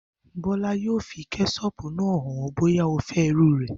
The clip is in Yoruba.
Bó̩la yóò fi ké̩s̩ó̩ò̩pù náà hàn ó̩ bóyá o fé̩ irú rè̩